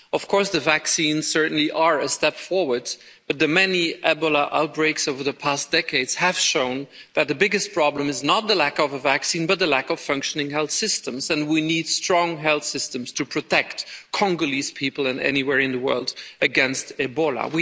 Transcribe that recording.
Of course, the vaccines certainly are a step forward, but the many Ebola outbreaks over the past decades have shown that the biggest problem is not the lack of a vaccine but the lack of functioning health systems, and we need strong health systems to protect Congolese people and people anywhere else in the world against Ebola.